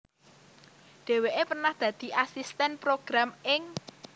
Dhéwéké pernah dadi asistèn program ing